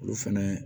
Olu fɛnɛ